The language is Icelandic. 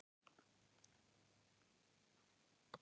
Þau drukku heitt súkkulaðið.